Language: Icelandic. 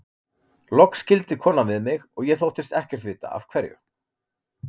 Loks skildi konan við mig og ég þóttist ekkert vita af hverju.